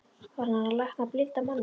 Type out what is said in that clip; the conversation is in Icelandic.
Var hann að lækna blinda manninn?